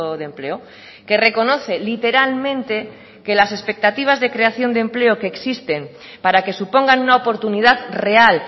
de empleo que reconoce literalmente que las expectativas de creación de empleo que existen para que supongan una oportunidad real